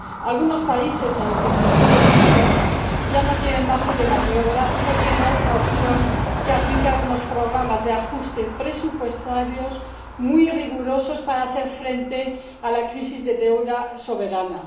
algunos países, en el que se incluye el mío, ya no tienen margen de maniobra y no tienen otra opción que aplicar unos programas de ajuste presupuestarios muy rigurosos para hacer frente a la crisis de deuda soberana.